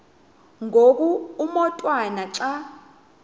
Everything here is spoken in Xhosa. ngoku umotwana xa